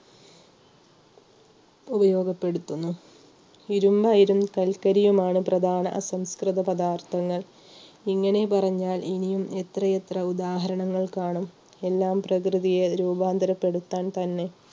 ഉപയോഗപ്പെടുത്തുന്നു ഇരുമ്പ് അയിരും കൽക്കരിയുമാണ് പ്രധാന അസംസ്കൃത പദാർത്ഥങ്ങൾ ഇങ്ങനെ പറഞ്ഞാൽ ഇനിയും എത്രയെത്ര ഉദാഹരണങ്ങൾ കാണാം എല്ലാം പ്രകൃതിയെ രൂപാന്തരപ്പെടുത്താൻ തന്നെ